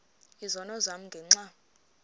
izono zam ngenxa